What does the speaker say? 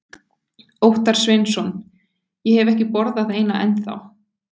Óttar Sveinsson: Ég hef ekki borðað eina ennþá?